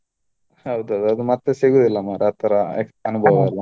ಹೌದು ಅದು ಅದು ಮತ್ತೆ ಸಿಗುದಿಲ್ಲ ಮಾರ್ರೆ ಆತರ ಅನುಭವ ಎಲ್ಲಾ.